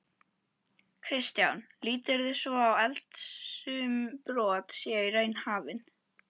Kristján: Líturðu svo á að eldsumbrot séu í raun hafin?